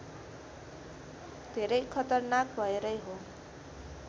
धेरै खतरनाक भएरै हो